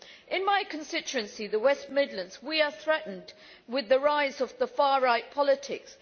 In my constituency, the West Midlands, we are threatened with the rise of far right politics.